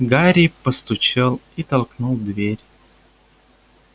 гарри постучал и толкнул дверь